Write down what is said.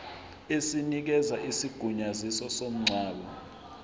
esinikeza isigunyaziso somngcwabo